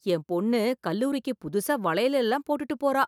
என் பொண்ணு கல்லூரிக்கு புதுசா வளையல் எல்லாம் போட்டுட்டு போறா